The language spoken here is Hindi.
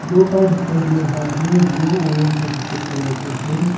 दो पाइप दिखाई दे रहा है जो ऑरेंज और सफेद कलर का है।